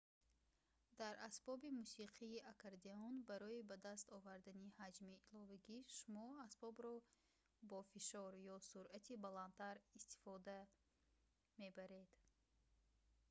дар асбоби мусиқии аккордеон барои ба даст овардани ҳаҷми иловагӣ шумо асбобро бо фишор ё суръати баландтар истифода мебаред